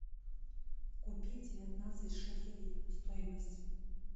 купить девятнадцать шекелей стоимость